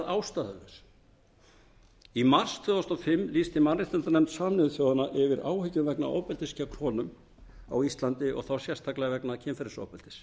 ástæðulausu í mars tvö þúsund og fimm lýsti mannréttindanefnd sameinuðu þjóðanna yfir áhyggjum vegna ofbeldis gegn konum á íslandi og þá sérstaklega vegna kynferðisofbeldis